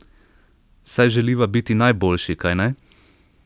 Saj želiva biti najboljši, kajne?